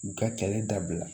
U ka kɛlɛ dabila